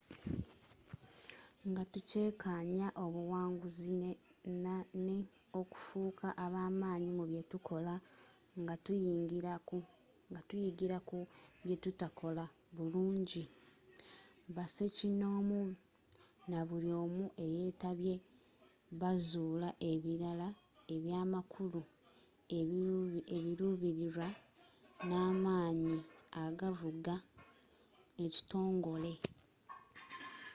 nga tukyekanya obuwanguzi nne okufuka abamanyi mu byetukola nga tuyigila ku byetuttakola bulungi basekinomu nabuli' omu eyetabye bazula ebilala ebyamakulu ebilubililwa nne amanyi agavuga ekitongole